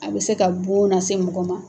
A bɛ se ka bon na se mɔgɔ ma.